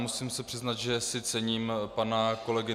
Musím se přiznat, že si cením pana kolegy